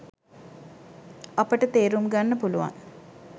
අපට තේරුම්ගන්න පුළුවන්